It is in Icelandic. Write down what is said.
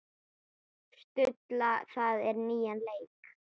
Stulla það á nýjan leik.